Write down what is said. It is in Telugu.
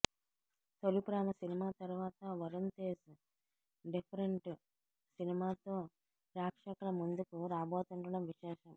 తొలిప్రేమ సినిమా తరువాత వరుణ్ తేజ్ డిఫరెంట్ సినిమా తో ప్రేక్షకుల ముందుకు రాబోతుండడం విశేషం